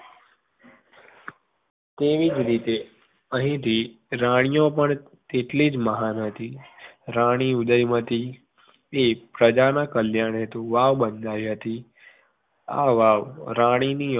તેવીજ રીતે અહીંથી રાણિયો પણ તેટલીજ મહાન હતી રાણી ઉદયમતીએ પ્રજાના કલ્યાણ હેતુ વાવ બંધાયેલી બંધાયેલી હતી. આ વાવ રાણીની વાવ